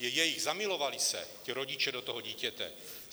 Je jejich, zamilovali se ti rodiče do toho dítěte.